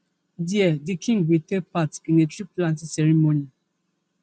there the king will take part in a treeplanting ceremony